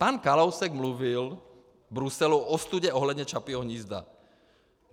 Pan Kalousek mluvil v Bruselu o ostudě ohledně Čapího hnízda.